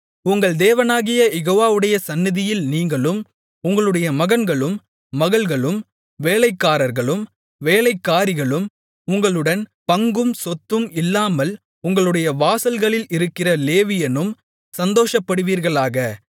உங்கள் தேவனாகிய யெகோவாவுடைய சந்நிதியில் நீங்களும் உங்களுடைய மகன்களும் மகள்களும் வேலைக்காரர்களும் வேலைக்காரிகளும் உங்களுடன் பங்கும் சொத்தும் இல்லாமல் உங்களுடைய வாசல்களில் இருக்கிற லேவியனும் சந்தோஷப்படுவீர்களாக